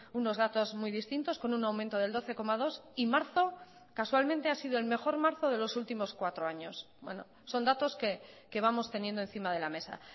unos datos muy distintos con un aumento del doce coma dos y marzo casualmente ha sido el mejor marzo de los últimos cuatro años son datos que vamos teniendo encima de la mesa